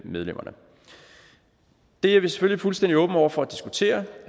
medlemmerne det er vi selvfølgelig fuldstændig åbne over for at diskutere